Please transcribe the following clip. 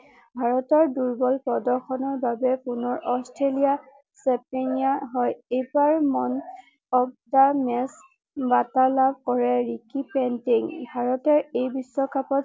ভাৰতৰ দূৰ্বল প্ৰৰ্দশনৰ বাবে পুনৰ অষ্ট্ৰেলিয়া হয় এইবাৰ মেন অৱ দা মেচ বঁটা লাভ কৰে ৰিকি পেইন্টিং ভাৰতে এই বিশ্বকাপত